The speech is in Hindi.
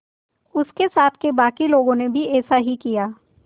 उसके साथ के बाकी लोगों ने भी ऐसा ही किया